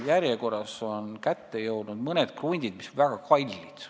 Järjekord on jõudnud mõnede kruntideni, mis on väga kallid.